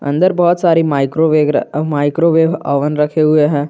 अन्दर बहोत सारे माइक्रोवेग माइक्रोवेब ओवन रखे हुए हैं।